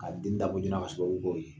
K'a den dabɔ joona kasɔrɔ